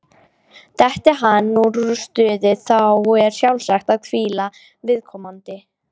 Detti hann úr stuði, þá er sjálfsagt að hvíla viðkomandi.